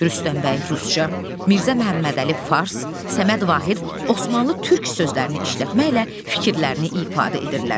Rüstəmbəy rusca, Mirzə Məhəmmədəli fars, Səməd Vahid osmanlı türk sözlərini işlətməklə fikirlərini ifadə edirlər.